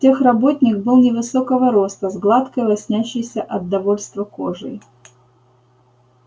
техработник был невысокого роста с гладкой лоснящейся от довольства кожей